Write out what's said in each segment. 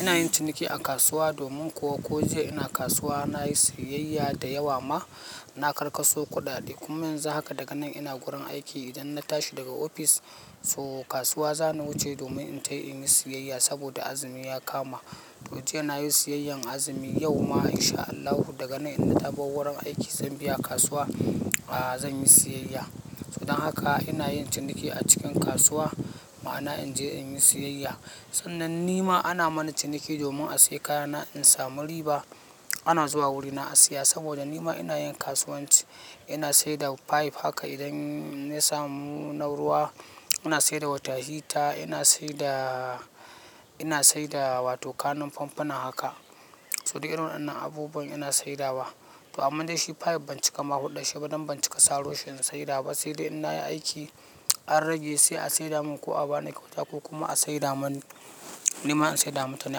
Ina yin ciniki a kasuwa domin kuwa ko jiya ina kasuwa nayi siyayya da yawa ma. Na karkaso kuɗaɗe kuma yanzu haka daga nan ina gurin aiki idan na tashi daga ofis so kasuwa za ni wuce domin in tai in yi siyayya saboda azumi ya kama. Mutum yana yin siyayyan azumi yau ma in sha Allahu daga nan in na bar wurin aiki zan biya kasuwa zan yi siyayya. To dan haka ina yin ciniki a cikin kasuwa. Ma'ana in je in yi siyayya. Sannan ni ma ana mana ciniki domin a sai kaya na in samu riba. Ana zuwa wurina a siya saboda ni ma ina yin kasuwanci. Ina sai da pipe haka idan na samu na ruwa, ina sayar da wata hita, ina sai da, ina sai da wato kanan famfuna haka. To duk irin waɗannan abubuwan ina saidawa. To aman dai shi pipe ban cika ma hudɗar shi ba dan ban cika saro shi in saida ba sai dai in na yi aiki an rage sai a saida mun ko a ba ni kyauta ko kuma a saida mani nima in saida ma mutane.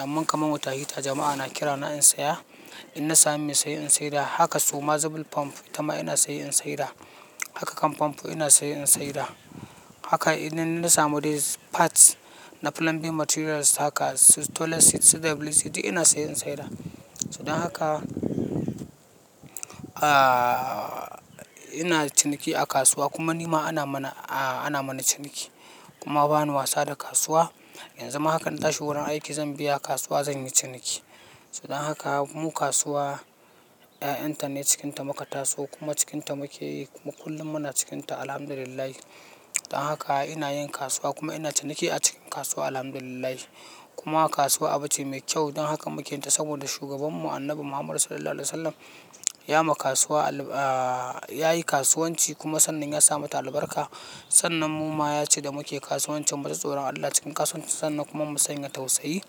Amman kaman wota hita jama'a na kira na in saya, in na sami mai saye in saida. Haka su ma zubin tomf ita ma ina saye in saida. Haka kan famfo ina saye in saida. Haka idan na samu dai parts na plumbing materials haka su toilet seat su da WC duk ina saye in saida. To dan haka, ina ciniki a kasuwa kuma ni ma ana mana, ana mana ciniki. Kuma bani wasa da kasuwa. Yanzu ma haka na tashi wurin aiki zan biya kasuwa zan yi ciniki. To dan haka mu kasuwa ƴaƴan ta ne cikin ta muka taso kuma cikin ta muke yi kuma kullum muna cikin ta Alhamdulillahi. Dan haka ina yin kasuwa kuma ina ciniki a cikin kasuwa Alhamdulillahi. Kuma kasuwa abu ce mai kyau dan haka muke yin ta saboda shugaban mu Annabi Muhammad Sallallahu Alaihi Wasallam ya ma kasuwa alb, yayi kasuwanci kuma sannan ya sa mata albarka. Sannan mu ma yace da muke kasuwancin mu ji tsoron Allah cikin kasuwanci, sannan kuma mu sanya tausayi.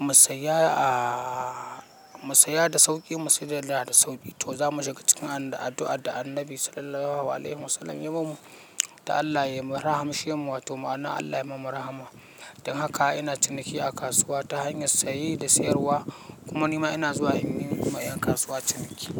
Mu saya a mu saya da sauƙi mu saidar da sauƙi. To za mu shiga cikin addu'ar da Annabi Sallallahu Alaihi Wasallam ya mamu. Da Allah yai ma rahamshe mu wato ma'ana Allah yai mamu rahama. Dan haka ina ciniki a kasuwa ta hanyar saye da sayarwa. Kuma ni ma ina zuwa in yi ma ƴan kasuwa ciniki.